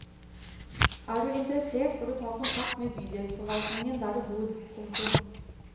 Er du interessert bør du ta kontakt med bydelsforvaltningen der du bor. punktum